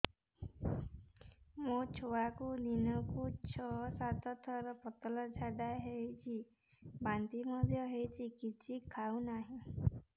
ମୋ ଛୁଆକୁ ଦିନକୁ ଛ ସାତ ଥର ପତଳା ଝାଡ଼ା ହେଉଛି ବାନ୍ତି ମଧ୍ୟ ହେଉଛି କିଛି ଖାଉ ନାହିଁ